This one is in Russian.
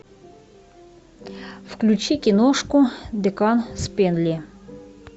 включи киношку декан спэнли